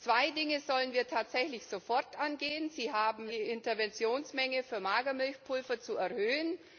Zwei Dinge sollen wir tatsächlich sofort angehen Sie haben verkündet, die Interventionsmenge für Magermilchpulver zu erhöhen.